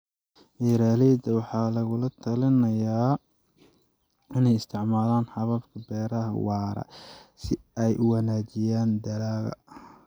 Beeraleyda waxaa lagu talinayaa inay isticmaalaan hababka beeraha waara si ay u wanaajiyaan dalagga.